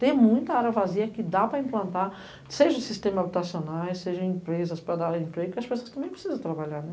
Tem muita área vazia que dá para implantar, seja sistema habitacional, seja empresas para dar emprego, porque as pessoas também precisam trabalhar, né?